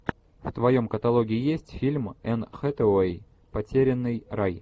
в твоем каталоге есть фильм энн хэтэуэй потерянный рай